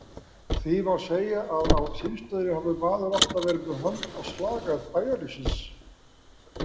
Því má segja að á símstöðinni hafi maður alltaf verið með hönd á slagæð bæjarlífsins.